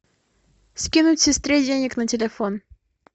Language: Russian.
скинуть сестре денег на телефон